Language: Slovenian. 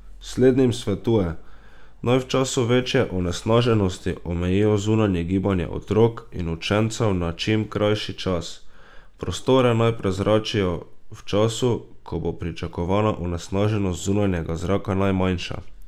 Slednjim svetuje, naj v času večje onesnaženosti omejijo zunanje gibanje otrok in učencev na čim krajši čas, prostore pa naj prezračijo v času, ko bo pričakovana onesnaženost zunanjega zraka najmanjša.